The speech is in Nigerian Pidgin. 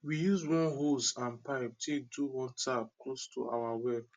we use one hose and pipie take do one tap close to our well